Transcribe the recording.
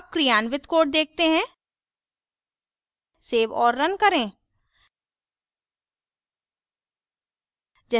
अब क्रियान्वित code देखते हैं सेव और रन करें